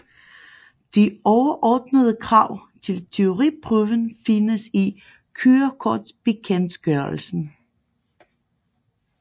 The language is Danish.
De overordnede krav til teoriprøven findes i kørekortbekendtgørelsen